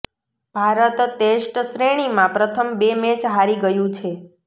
Bharat test શ્રેણીમાં પ્રથમ બે મેચ હારી ગયું છે